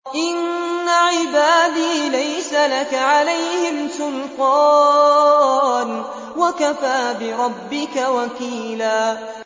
إِنَّ عِبَادِي لَيْسَ لَكَ عَلَيْهِمْ سُلْطَانٌ ۚ وَكَفَىٰ بِرَبِّكَ وَكِيلًا